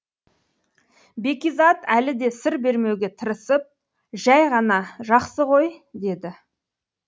бәкизат әлі де сыр бермеуге тырысып жай ғана жақсы ғой деді